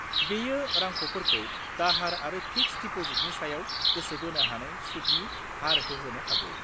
बेयो रांख'फोरखौ दाहार आरो फिक्स्ड डिप'जिटनि सायाव गोसो बोनो हानाय सुदनि हार होहोनो हागौ।